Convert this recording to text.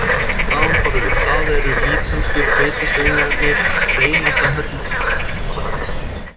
Samanborið við það eru ítölsku hveitistönglarnir hreinasta hörmung